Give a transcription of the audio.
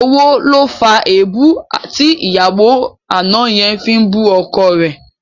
Owó ló fa èébú tí ìyàwó àná yẹn fi ń bú ọkọ rẹ̀